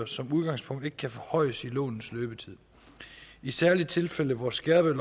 som udgangspunkt ikke kan forhøjes i lånets løbetid i særlige tilfælde hvor skærpet